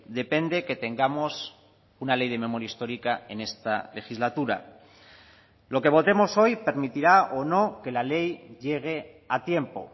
depende que tengamos una ley de memoria histórica en esta legislatura lo que votemos hoy permitirá o no que la ley llegue a tiempo